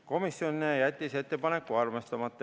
Komisjon jättis ettepaneku arvestamata.